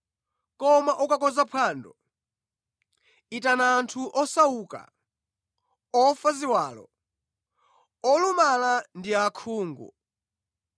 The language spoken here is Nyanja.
Koma ukakonza phwando, itana anthu osauka, ofa ziwalo, olumala ndi osaona.